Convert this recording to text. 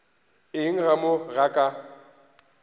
eng ka mo ga ka